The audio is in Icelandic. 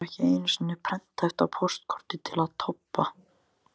Það var ekki einu sinni prenthæft á póstkorti til Tobba.